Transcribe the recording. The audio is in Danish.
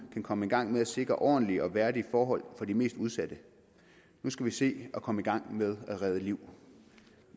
kan komme i gang med at sikre ordentlige og værdige forhold for de mest udsatte nu skal vi se at komme i gang med at redde liv